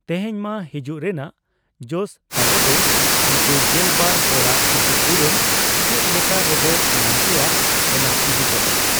ᱛᱮᱦᱮᱧ ᱢᱟ ᱦᱤᱡᱩᱜ ᱨᱮᱱᱟᱜ ᱡᱚᱥ ᱛᱟᱵᱚᱫᱚ ᱩᱱᱠᱩ ᱜᱮᱞᱵᱟᱨ ᱦᱚᱲᱟᱜ ᱠᱷᱤᱛᱤᱯᱩᱨᱚᱱ ᱪᱮᱫ ᱞᱮᱠᱟ ᱨᱮᱵᱚ ᱧᱟᱢ ᱠᱮᱭᱟ, ᱚᱱᱟ ᱤᱫᱤ ᱠᱟᱛᱮ ᱾